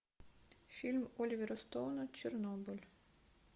фильм оливера стоуна чернобыль